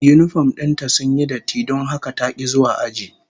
Yinifom din ta sun yi datti don haka ta ki zuwa aji